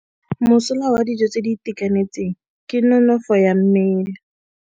Mosola wa dijô tse di itekanetseng ke nonôfô ya mmele.